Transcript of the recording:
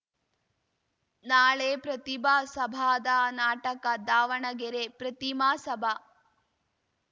ನಾಳೆ ಪ್ರತಿಭಾ ಸಭಾದ ನಾಟಕ ದಾವಣಗೆರೆ ಪ್ರತಿಮಾ ಸಭಾ